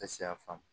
ya faamu